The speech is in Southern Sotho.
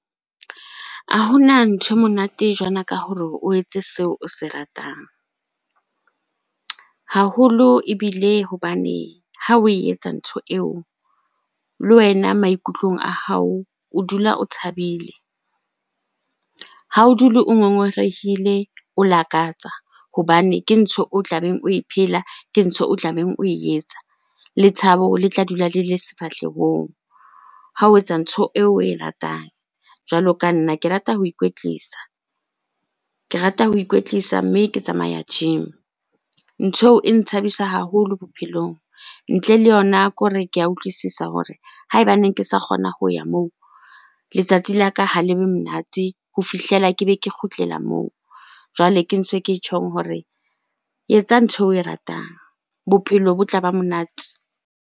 A Hona ntho e monate jwalo ka hore o etse seo o se ratang haholo ebile hobane ha oe etsa ntho eo, le wena maikutlong a hao o dula o thabile. Ha o dule o ngongorehile, o lakatsa hobane ke ntho o tlabeng oe phela, ke ntho o tlabeng oe etsa. Le thabo le tla dula le le sefahlehong ha o etsa ntho eo oe ratang. Jwalo ka nna, ke rata ho ikwetlisa, ke rata ho ikwetlisa mme ke tsamaya gym. Ntho eo e nthabisa haholo bophelong. Ntle le yona ke hore ke a utlwisisa hore haebaneng ke sa kgona ho ya moo, letsatsi la ka ha le be monate ho fihlela ke be ke kgutlela moo. Jwale ke ntse ke tjhong hore etsa ntho eo oe ratang, bophelo bo tla ba monate.